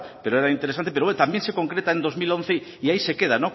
pero era interesante pero también se concreta en dos mil once y ahí se queda